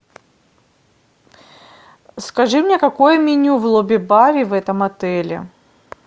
скажи мне какое меню в лобби баре в этом отеле